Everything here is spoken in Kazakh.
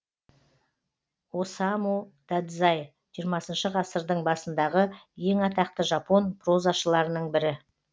осаму дадзай жиырмасыншы ғасырдың басындағы ең атақты жапон прозашыларының бірі